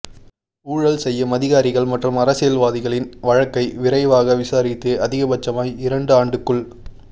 ஊழல் செய்யும் அதிகாரிகள் மற்றும் அரசியல்வாதிகளின் வழக்கை விரைவாக விசாரித்து அதிகப்பட்சமாய் இரண்டு ஆண்டுக்குள்